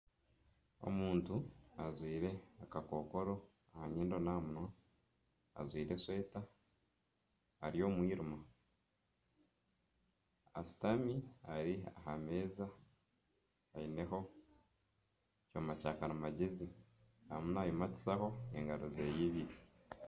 Omuntu ajwire akakokoro aha nyindo n'aha munywa, ajwire esweta, ari omu mwirima ashutami ari aha meeza, aineho ekyoma kyakarimagyezi arimu naayimatisaho engaro ze ibiri